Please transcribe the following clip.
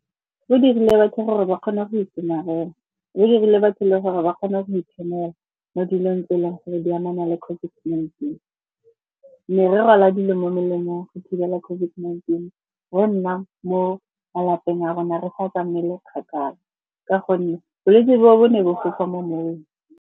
Go dirile batho gore ba kgone go itshomarela. Go dirile batho le gore ba kgone go itshwenya mo dilong tse e leng gore di amana le COVID-19. Merero ya dilo mo melemong go thibela COVID-19 re nna mo malapeng a rona, re sa tsamaele kgakala ka gonne bolwetse bo bo ne bo fofa mo moweng.